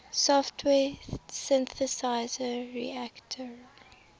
software synthesizer reaktor